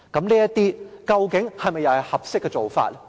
這些究竟又是否合適的做法？